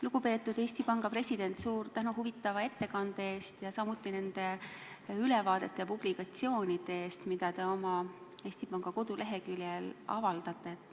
Lugupeetud Eesti Panga president, suur tänu huvitava ettekande eest, samuti nende ülevaadete ja publikatsioonide eest, mida te Eesti Panga koduleheküljel avaldate!